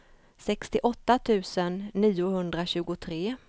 sextioåtta tusen niohundratjugotre